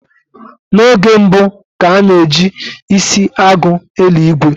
N'oge mbu, ka a na ji isi agụ eli ìgwè